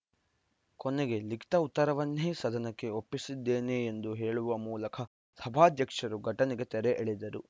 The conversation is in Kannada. ಕೊನೆಗೆ ಲಿಖಿತ ಉತ್ತರವನ್ನೇ ಸದನಕ್ಕೆ ಒಪ್ಪಿಸಿದ್ದೇನೆ ಎಂದು ಹೇಳುವ ಮೂಲಕ ಸಭಾಧ್ಯಕ್ಷರು ಘಟನೆಗೆ ತೆರೆ ಎಳೆದರು